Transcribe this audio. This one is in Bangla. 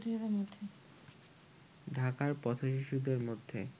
ঢাকার পথ-শিশুদের মধ্যে